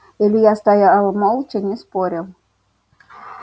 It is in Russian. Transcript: илья стоял молча не спорил